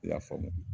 I y'a faamu